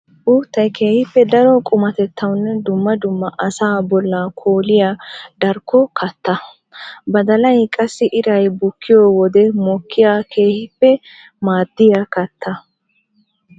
Uuttay keehippe daro qummatettawunne dumma dumma asaa bolla koolliya darkko katta. Badallay qassi iray bukkiyo wode mokkiya keehippe maaddiya katta.